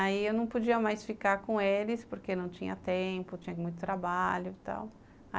Aí, eu não podia mais ficar com eles, porque não tinha tempo, tinha muito trabalho e tal.